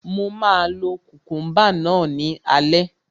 Mo máa lo kukumba náà ní alẹ́